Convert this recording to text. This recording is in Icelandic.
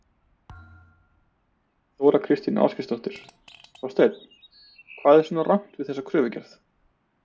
Þóra Kristín Ásgeirsdóttir: Þorsteinn hvað er svona rangt við þessa kröfugerð?